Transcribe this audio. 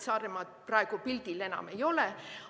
Saaremaad praegu pildil enam ei ole.